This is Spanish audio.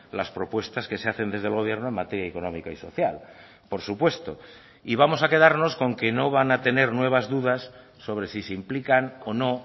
las propuestas que se hacen desde el gobierno en materia económica y social por supuesto y vamos a quedarnos con que no van a tener nuevas dudas sobre si se implican o no